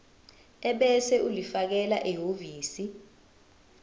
ebese ulifakela ehhovisi